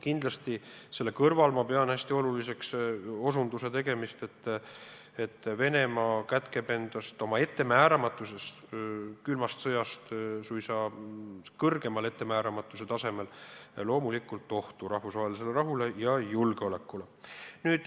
Aga selle kõrval ma pean hästi oluliseks osutuse tegemist, et Venemaa kätkeb endas oma ettemääramatuses, mis on suuremgi kui külma sõja ajal, loomulikult ohtu rahvusvahelisele rahule ja julgeolekule.